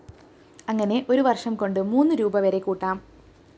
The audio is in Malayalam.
അങ്ങനെ ഒരു വര്‍ഷം കൊണ്ട് മൂന്നു രൂപീ വരെ കൂട്ടാം